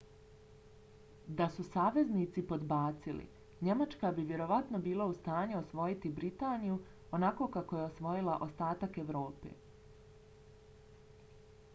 da su saveznici podbacili njemačka bi vjerovatno bila u stanju osvojiti britaniju onako kako je osvojila ostatak evrope